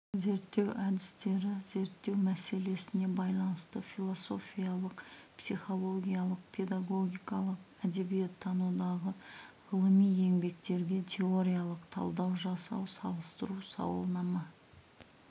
зерттеу әдістері зерттеу мәселесіне байланысты философиялық психологиялық педагогикалық әдебиеттанудағы ғылыми еңбектерге теориялық талдау жасау салыстыру сауалнама